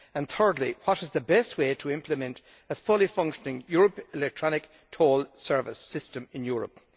Thirdly, what is the best way to implement a fully functioning European electronic toll service system in Europe?